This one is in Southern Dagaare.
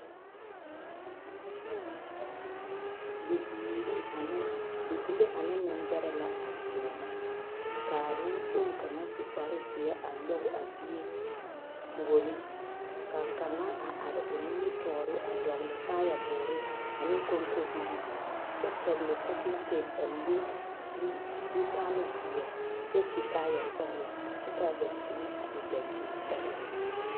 Bibiiri ane bibile ane nembɛrɛ la a deɛnɛ k,a nenkpoŋ kaŋ su kparezeɛ a nyɔge a bie puori ka kaŋa a are o nimitɔɔre a dɔgle taayɛboore ane kɔnkɔbilii kyɛ pɛgle pakikeesi a le du zutalzeɛ kyɛ su kaayasɔglɔ kyɛ k,a dankyime a e dankyinsɔglɔ.